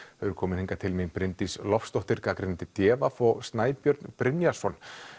þau eru komin hingað til mín Bryndís Loftsdóttir gagnrýnandi d v og Snæbjörn Brynjarsson